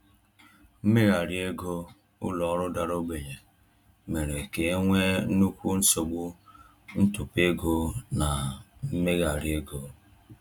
Mmegharị ego ụlọ ọrụ dara ogbenye mere ka e nwee nnukwu nsogbu ntụpọ ego na mmegharị ego.